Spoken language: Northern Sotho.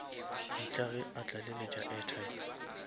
mehla ge o tlaleletša airtime